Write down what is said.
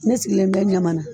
Ne sigilen bɛ ɲamana